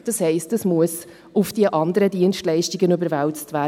Das heisst, dies muss auf die anderen Dienstleistungen überwälzt werden.